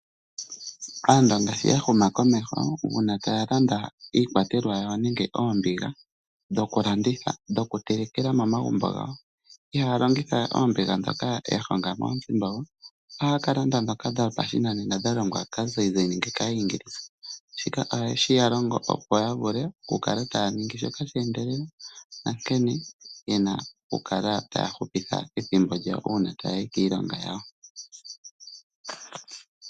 Aandonga shi yahuma komeho uuna taya landa iikwatelwa yawo nenge oombiga dhokulanda, dhokutelekela momagumbo gawo ihaya longitha oombiga ndhoka yahonga moonzimbogo. Ohaya kalanda ndhoka dhopashinanena dhalongwa kaazayizayi nenge kaayingilisa, shika ohashi yalongo okukala taya longo shoka shoka sheendelela nankene yena okukala taya hupitha ethimbo lyawo uuna taya yi kiilonga yawo.